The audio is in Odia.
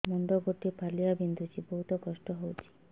ମୁଣ୍ଡ ଗୋଟେ ଫାଳିଆ ବିନ୍ଧୁଚି ବହୁତ କଷ୍ଟ ହଉଚି